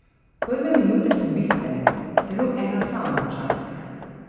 Prve minute so bistvene, celo ena sama včasih.